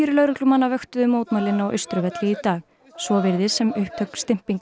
lögreglumanna vöktuðu mótmælin á Austurvelli í dag svo virðist sem upptök